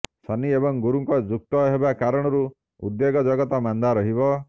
ଶନି ଏବଂ ଗୁରୁଙ୍କ ଯୁକ୍ତ ହେବା କାରଣରୁ ଉଦ୍ୟୋଗ ଜଗତ ମାନ୍ଦା ରହିବ